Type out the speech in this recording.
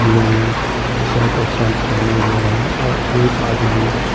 इन्होंने शर्ट और पैंट पहने हुए हैं और एक आदमी--